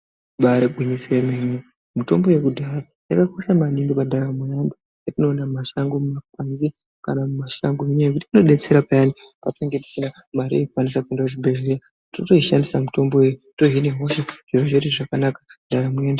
Ribaari gwinyiso remene mitombo yekudhaya inokosha maningi pandaramo yeantu yetinoona mumashango muno kana mumashango nenyaya yekuti inodetsera peyani patinenge tisina mare yekukwanisa kuenda kuzvibhendlera. Totoishandisa mitombo iyoyo tohina hosha zviro zvedu zvakanaka ndaramo yoto.